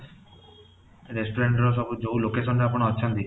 restrurant ର ସବୁ ଯୋଉ location ରେ ଆପଣ ଅଛନ୍ତି